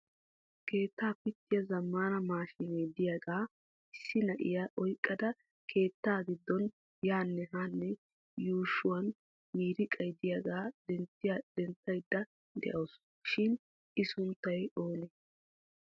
Keettaa pittiya zammana maashine de'iyaaga issi na'iyaa oyqqada keetta giddon yaanne haanne yuushshuwaan miiriqay de'iyaaga denttaydda de'awusu shin I sunttay oonee?